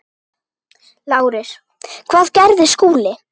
LÁRUS: Hvað gerði Skúli?